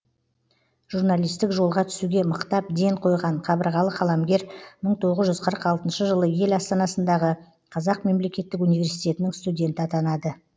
журналистік жолға түсуге мықтап ден қойған қабырғалы қаламгер мың тоғыз жүз қырық алтыншы жылы ел астанасындағы қазақ мемлекеттік университетінің студенті атанады